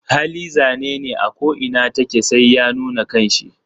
Hali zanene ako inatake sai ya nuna kanshi.